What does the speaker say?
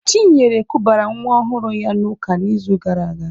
Chinyere kubara nwa ọhụrụ ya n'ụka n'izu gara aga.